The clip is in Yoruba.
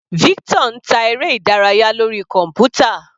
Victor ń ta eré ìdárayá lórí kọ̀npútà.